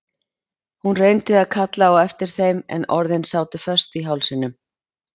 Hún reyndi að kalla á eftir þeim en orðin sátu föst í hálsinum.